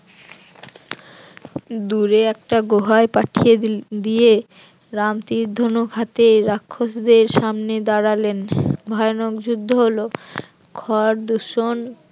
দূরে একটা গুহায় পাঠিয়ে দিল দিয়ে রাম তীর ধনুক হাতে রাক্ষসদের সামনে দাঁড়ালেন ভয়ানক যুদ্ধ হলো খর দূষণ